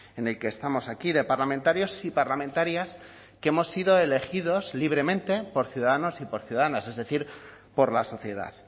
en el que estamos aquí de parlamentarios y parlamentarias que hemos sido elegidos libremente por ciudadanos y por ciudadanas es decir por la sociedad